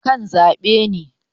akan zabe ne